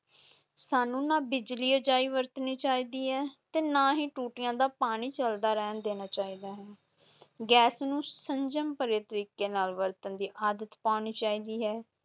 ਸਾਨੂੰ ਨਾ ਬਿਜਲੀ ਅਜਾਈਂ ਵਰਤਣੀ ਚਾਹੀਦੀ ਹੈ ਤੇ ਨਾ ਹੀ ਟੂਟੀਆਂ ਦਾ ਪਾਣੀ ਚਲਦਾ ਰਹਿਣ ਦੇਣਾ ਚਾਹੀਦਾ ਹੈ ਗੈਸ ਨੂੰ ਸੰਜਮ ਭਰੇ ਤਰੀਕੇ ਨਾਲ ਵਰਤਣ ਦੀ ਆਦਤ ਪਾਉਣੀ ਚਾਹੀਦੀ ਹੈ।